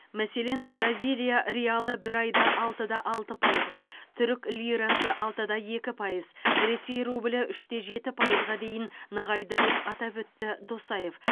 мәселен бразилия реалы бір айда алты да алты пайызға түрік лирасы алты да екі пайыз ресей рублі үш те жеті пайызға дейін нығайды деп атап өтті досаев